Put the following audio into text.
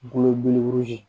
Golo belebele ye